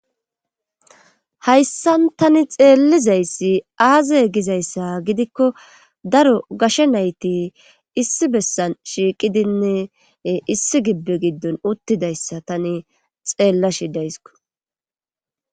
hayssan tani xeellizayssi aazay gizayssa gidikko daro gashe nayti issi bessan shiiqidinne issi gibbe giddon uttidayssa tani xeellashi dayssko